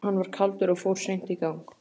Hann var kaldur og fór seint í gang.